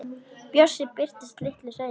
Bjössi birtist litlu seinna.